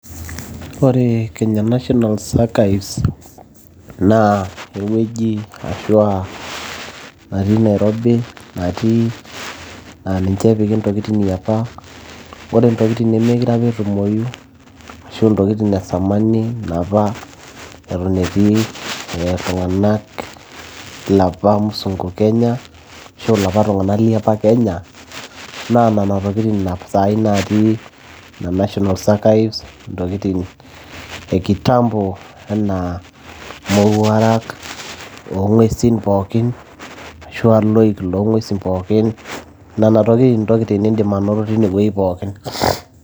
ore kenya national archives naa ewueji ashua natii nairobi natii naa ninche epiki intokitin yiapa ore intokitin nemeekure apa etumoyu ashu intokitin esamani napa eton etii iltung'anak ilapa musunku kenya ashu ilapa tung'anak liapa kenya naa nana tokitin sai natii ina national archives ntokitin e kitambo enaa mowuarak oong'uesin pookin ashua iloik loong'uesi pookin nena tokitin intokitin nindim anoto tine wueji pookin.